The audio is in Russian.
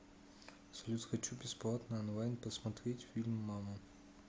салют хочу бесплатно онлайн посмотреть фильм мама